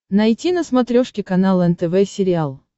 найти на смотрешке канал нтв сериал